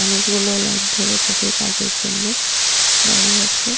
মানুষগুলো লাইন ধরে তাদের কাজের জন্য দাঁড়িয়ে আছে।